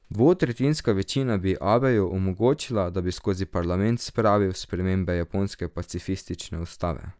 Dvotretjinska večina bi Abeju omogočila, da bi skozi parlament spravil spremembe japonske pacifistične ustave.